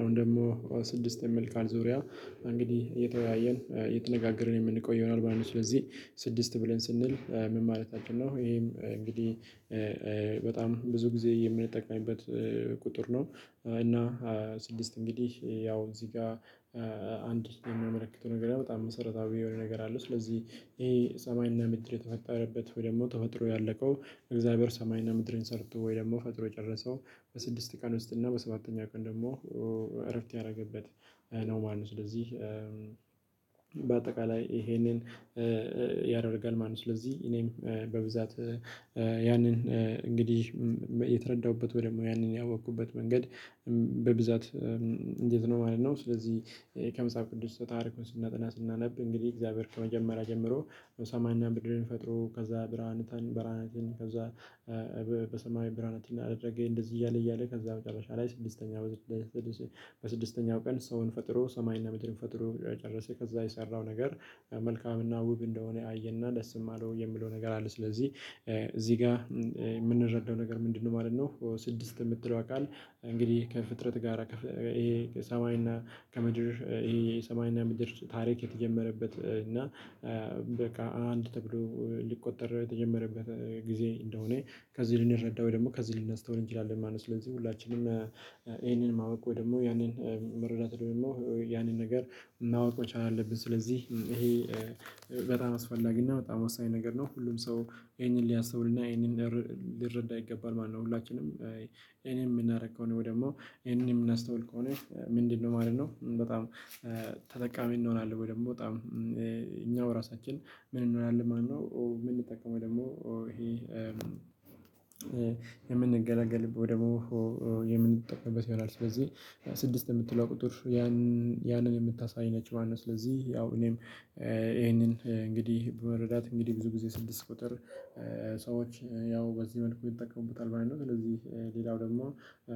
አሁን ደግሞ ስድስት የሚል ቃል ዙሪያ እንግዲህ እየተወያየን እየተነጋገርን የምንቆየው ማለት ነው። ስለዚህ ስድስት ብለን ስንል ምን ማለታችን ነው? ይሄም እንግዲህ በጣም ብዙ ጊዜ የምንጠቀምበት ቁጥር ነው። እና ስድስት እንግዲህ ያው እዚህ ጋር አንድ የምመለከተው ነገር በጣም መሰረታዊ የሆነ ነገር አለ። ስለዚህ ይሄ ሰማይና ምድር የተፈጠረበት ወይ ደግሞ ተፈጥሮ ያለቀው እግዚአብሔር ሰማይና ምድርን ሰርቶ ወይ ደግሞ ፈጥሮ የጨረሰው በስድስት ቀን ውስጥ እና በሰባተኛ ቀን ደግሞ እረፍት ያደረገበት ነው ማለት ነው። ስለዚህ በአጠቃላይ ይሄንን ያደርጋል ማለት ነው። ስለዚህ እኔም በብዛት እንግዲህ የተረዳሁበት ወይ ደግሞ ያንን ያወቅኩበት መንገድ በብዛት እንዴት ነው ማለት ነው? ስለዚህ ከመጽሐፍ ቅዱስ በታሪኩ ስናጠና ስናነብ እንግዲህ እግዚአብሔር ከመጀመሪያ ጀምሮ በሰማንያ ምድርን ፈጥሮ ከዛ ብርሃንተን በራናትን ከዛ ብርሃናትን አደረገ እንደዚህ እያለ እያለ ከዛ መጨረሻ ላይ ስድስተኛ በስድስተኛው ቀን ሰውን ፈጥሮ ሰማይና ምድርን ፈጥሮ ጨረሰ ከዛ የሰራው ነገር መልካምና ውብ እንደሆነ አየና ደስም አለው የሚለው ነገር አለ። ስለዚህ እዚህ ጋር የምንረዳው ነገር ምንድነው? ማለት ነው ስድስት የምትለዋ ቃል እንግዲህ ከፍጥረት ጋራ ከሰማይና ከምድር የሰማይና ምድር ታሪክ የተጀመረበት እና በቃ አንድ ተብሎ ሊቆጠር የተጀመረበት ጊዜ እንደሆነ ከዚህ ልንረዳው ወይ ደግሞ ከዚህ ልናስተውል እንችላለን ማለት ነው። ስለዚህ ሁላችንም ይሄንን ማወቅ ወይ ደግሞ ያንን መረዳት ደግሞ ያንን ነገር ማወቅ መቻል አለብን። ስለዚህ ይሄ በጣም አስፈላጊ እና በጣም ወሳኝ ነገር ነው። ሁሉም ሰው ይሄንን ሊያስተውልና ይህንን ሊረዳ ይገባል ማለት ነው። ሁላችንም ይሄንን የምናደርገው ከሆነ ወይ ደግሞ ይሄንን የምናስተውል ከሆነ ምንድነው ማለት ነው? በጣም ተጠቃሚ እንሆናለን ወይ ደግሞ በጣም እኛው ራሳችን ምን እንሆናለን ማለት ነው? የምንጠቀመው ደግሞ ይሄ የምንገለገልበት ወይ ደግሞ የምንጠቀምበት ይሆናል። ስለዚህ ስድስት የምትለው ቁጥር ያንን ያንን የምታሳይ ነች ማለት ነው። ስለዚህ ያው እኔም ይሄንን እንግዲህ በመረዳት እንግዲህ ብዙ ጊዜ ስድስት ቁጥር ሰዎች ያው በዚህ መልኩ ይጠቀሙታል ማለት ነው። እነዚህ ሌላው ደግሞ